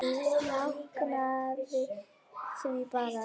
Ég jánkaði því bara.